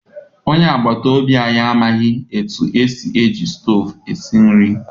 Onye agbata obi anyị amaghị etu esi eji stovu esi nri.